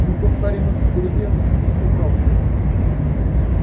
мы повторим эксперимент но с поправкой